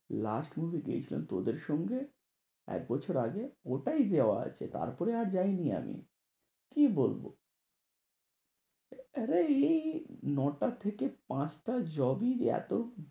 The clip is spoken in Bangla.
Last movie দেখলাম তোদের সঙ্গে এক বছর আগে ওটাই দেওয়া আছে তারপরে আর যায়নি আমি। কি বলবো? এই ন টা থেকে পাঁচ টার job ই এত